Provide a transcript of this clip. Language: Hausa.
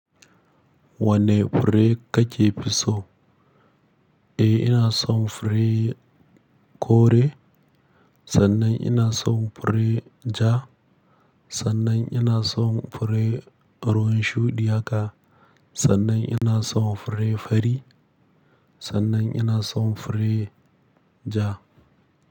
Wane fure kake fi so? E ina son fure kore, sannan ina son fure ja, sannan ina son fure ruwan shuɗiya ka, sannan ina son fure fari, sannan ina son fure ja.